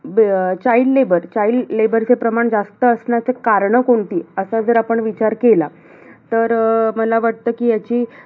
अं child labor child labor चे प्रमाण जास्त असण्याचे कारणं कोणती? असा जर आपण विचार केला. तर अं मला वाटतं, कि याची